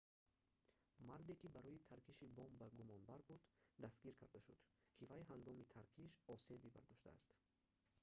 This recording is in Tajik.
марде ки барои таркиши бомба гумонбар буд дастгир карда шуд ки вай ҳангоми таркиш осеби бардоштааст